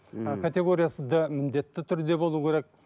категориясы д міндетті түрде болуы керек